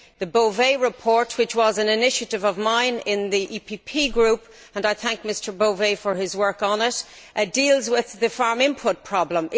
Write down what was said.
The Bové report, which was an initiative of mine in the EPP Group and I thank Mr Bové for his work on it deals with the farm input problem.